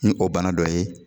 Ni o bana dɔ ye